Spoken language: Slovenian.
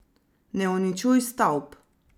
Ne uničuj stavb.